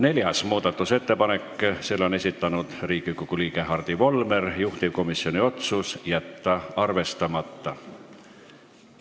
Neljanda muudatusettepaneku on esitanud Riigikogu liige Hardi Volmer, juhtivkomisjoni otsus on jätta arvestamata.